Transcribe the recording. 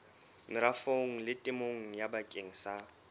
merafong le temong bakeng sa